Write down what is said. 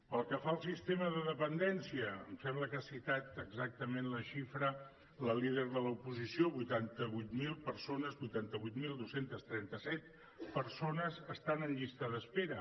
pel que fa al sistema de dependència em sembla que ha citat exactament la xifra la líder de l’oposició vuitanta vuit mil persones vuitanta vuit mil dos cents i trenta set persones estan en llista d’espera